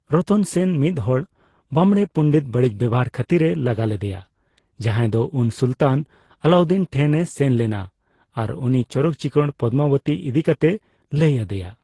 ᱨᱚᱛᱚᱱ ᱥᱮᱱ ᱢᱤᱫ ᱦᱚᱲ ᱵᱟᱢᱲᱮ ᱯᱚᱱᱰᱤᱛ ᱵᱟᱲᱤᱡ ᱵᱮᱣᱦᱟᱨ ᱠᱷᱟᱛᱤᱨ ᱮ ᱞᱟᱜᱟ ᱞᱮᱫᱮᱭᱟ, ᱡᱟᱦᱟᱭ ᱫᱚ ᱩᱱ ᱥᱩᱞᱛᱟᱱ ᱟᱞᱟᱩᱫᱤᱱ ᱴᱷᱮᱱ ᱮ ᱥᱮᱱ ᱞᱮᱱᱟ ᱟᱨ ᱩᱱᱤ ᱪᱚᱨᱚᱠ ᱪᱤᱠᱟᱹᱲ ᱯᱚᱫᱢᱟ ᱵᱚᱛᱤ ᱤᱫᱤ ᱠᱟᱛᱮ ᱞᱟᱹᱭ ᱟᱫᱮᱭᱟ ᱾